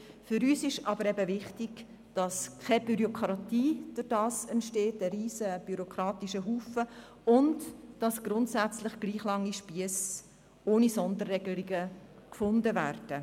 Für uns ist aber wichtig, dass damit keine aufwendige Bürokratie entsteht und dass grundsätzlich gleich lange Spiesse ohne Sonderregelungen gefunden werden.